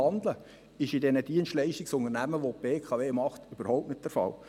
Das ist in den Dienstleistungsunternehmen, welche die BKW betreibt, überhaupt nicht der Fall.